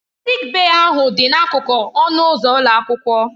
Sịịk bèyí ahụ dị n'akụkụ ọnụ ụzọ ụlọ akwụkwọ.